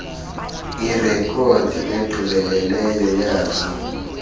irekhodi egqibeleleyo yazo